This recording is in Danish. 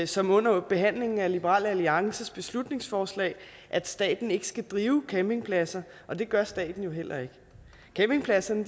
som under behandlingen af liberal alliances beslutningsforslag at staten ikke skal drive campingpladser og det gør staten jo heller ikke campingpladserne